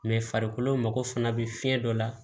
farikolo mago fana bɛ fiɲɛ dɔ la